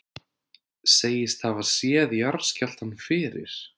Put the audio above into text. Segist hafa séð jarðskjálftann fyrir